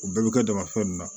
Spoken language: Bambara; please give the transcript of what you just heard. U bɛɛ bɛ kɛ damafɛn ninnu na